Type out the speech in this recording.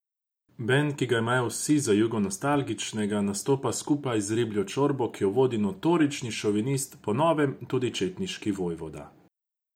Bend, ki ga imajo vsi za jugonostalgičnega, nastopa skupaj z Ribljo čorbo, ki jo vodi notorični šovinist, po novem tudi četniški vojvoda.